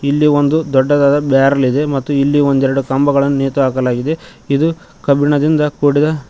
ಇಲ್ಲಿ ಒಂದು ದೊಡ್ಡದಾದ ಬ್ಯಾರಲ್ ಇದೆ ಮತ್ತು ಇಲ್ಲಿ ಒಂದೆರಡು ಕಂಬಗಳನ್ನು ನೇತು ಹಾಕಲಾಗಿದೆ ಇದು ಕಬ್ಬಿಣದಿಂದ ಕೂಡಿದ--